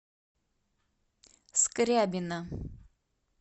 скрябина